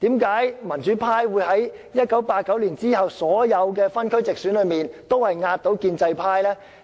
為何民主派在1989年之後的所有分區直選中，均壓倒建制派呢？